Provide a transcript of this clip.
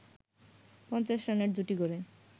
৫০ রানের জুটি গড়ে